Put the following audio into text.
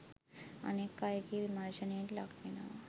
අනෙක් අයගේ විමර්ශනයට ලක්වෙනවා.